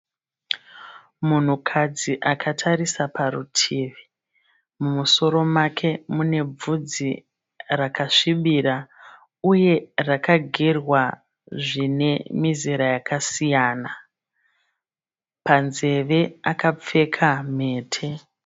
Munhukadzi akatarisa parutivi. Mumusoro make mune bvudzi rakasvibira, uye rakagerwa zvine mizera yakasiyana. Panzeve akapfeka mhete.